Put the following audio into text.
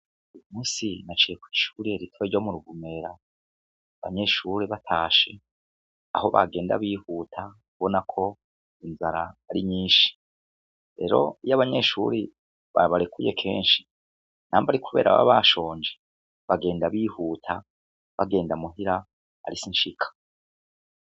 Musi nacekwa ishuriye ritwe ryo mu rugumera banyeshuri batashe aho bagenda bihuta kubona ko inzara ari nyinshi rero iyo abanyeshuri babarekuye kenshi namba ari, kubera aba bashonje bagenda bihuta bagenda muhira ari sinsiba.